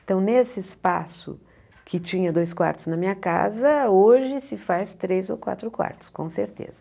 Então, nesse espaço que tinha dois quartos na minha casa, hoje se faz três ou quatro quartos, com certeza.